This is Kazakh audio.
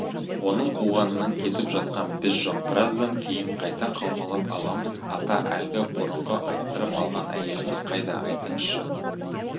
оның қуғанынан кетіп жатқан біз жоқ біраздан кейін қайта қаумалап аламыз ата әлгі бұрынғы айттырып алған әйеліңіз қайда айтыңызшы